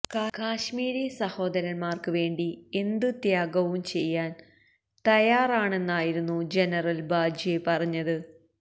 കശ്മീരി സഹോദരൻമാർക്ക് വേണ്ടി എന്ത് ത്യാഗവും ചെയ്യാൻ തയ്യാറാണെന്നായിരുന്നു ജനറൽ ബാജ്വ പറഞ്ഞത്